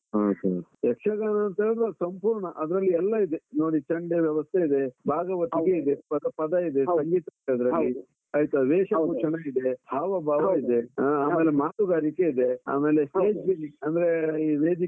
ಹಾ sir ಯಕ್ಷಗಾನಂತಾ ಹೇಳಿದ್ರೆ ಸಂಪೂರ್ಣ, ಅದ್ರಲ್ಲಿ ಎಲ್ಲ ಇದೆ. ನೋಡಿ ಚಂಡೆ ವ್ಯವಸ್ಥೆ ಇದೆ, ಭಾಗವತನೂ ಇದೆ, ಪದ ಇದೆ ಸಂಗೀತಸ ಇದೆ ಇದ್ರಲ್ಲಿ , ಆಯ್ತಾ, ವೇಷಭೂಷಣ ಇದೆ , ಹಾವ ಭಾವ ಇದೆ. , ಆಮೇಲೆ ಮಾತುಗಾರಿಕೆ ಇದೆ, ಆಮೇಲೆ stage gimic ಅಂದ್ರೆ ಈ ವೇದಿಕೆ